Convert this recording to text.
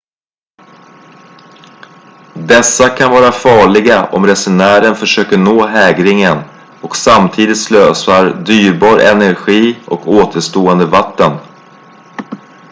dessa kan vara farliga om resenären försöker nå hägringen och samtidigt slösar dyrbar energi och återstående vatten